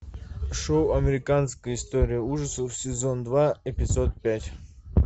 шоу американская история ужасов сезон два эпизод пять